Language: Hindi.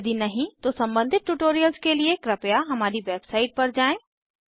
यदि नहीं तो सम्बंधित ट्यूटोरियल्स के लिए कृपया हमारी वेबसाइट पर जाएँ